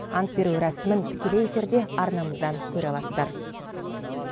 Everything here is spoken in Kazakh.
ант беру рәсімін тікелей эфирде арнамыздан көре аласыздар